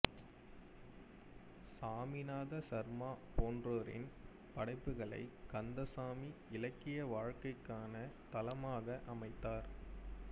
சாமிநாத சர்மா போன்றோரின் படைப்புகளை கந்தசாமி இலக்கிய வாழ்க்கைக்கான தளமாக அமைத்தார்